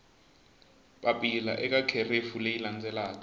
papila eka kherefu leyi landzelaka